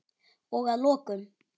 Og að lokum.